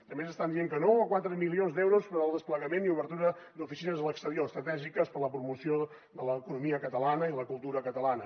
també ens estan dient que no a quatre milions d’euros per al desplegament i obertura d’oficines a l’exterior estratègiques per a la promoció de l’economia catalana i de la cultura catalana